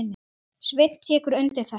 Sveinn tekur undir þetta.